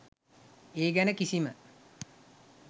ඒ ගැන කිසිම